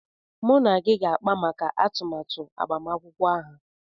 Mụ na gị ga-akpa maka atụmatụ agbamakwụkwọ aha.